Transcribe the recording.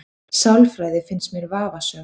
Sálfræði finnst mér vafasöm